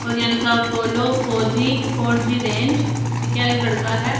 और यहां लिखा Apollo four G four G range ठीक है एक लड़का है।